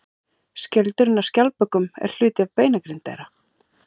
Skjöldurinn á skjaldbökum er hluti af beinagrind þeirra.